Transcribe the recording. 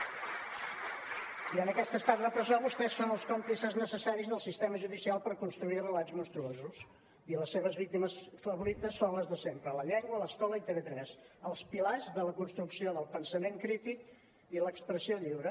i en aquest estat repressor vostès són els còmplices necessaris del sistema judicial per construir relats monstruosos i les seves víctimes favorites són les de sempre la llengua l’escola i tv3 els pilars de la construcció del pensament crític i l’expressió lliure